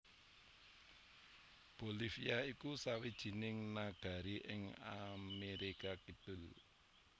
Bolivia iku sawijining nagari ing Amerika Kidul